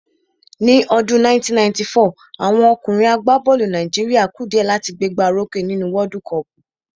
Ní ọdún 1994, àwọn ọkùnrin àgbá bọ́ọ̀lù Nàìjíríà ku dìẹ́ láti gbé gbá o rókè nínú wọ́ọ́dú kọọ̀pù